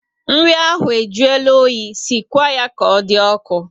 Nri ahụ e juola oyi, sikwa ya ka ọ dị ọkụ